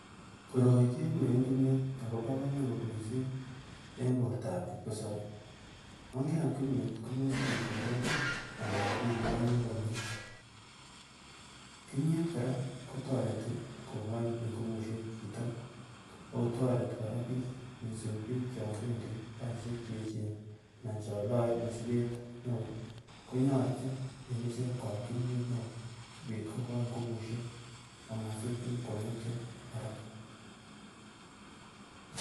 Koroi keguren kimyet akobo komonut missing en bortab kipkosebe yon keam kimyet komesib isiorore anan ibionyi komie kimiet kora kotoreti kokochi ngubusiek chito akotoreti kora biik missing biik chon bendi kasiseik cheechen anan chon loe mosiket newoo konyoche en ichek koam kimyet newoo sikobit kokoi ngubusiek amosib kosib kongetyo haraka